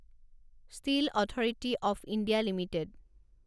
steel authority of India limited